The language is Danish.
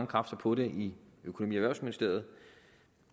kræfter på det i økonomi